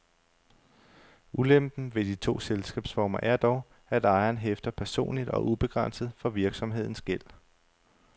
Ulempen ved de to selskabsformer er dog, at ejeren hæfter personligt og ubegrænset for virksomhedens gæld.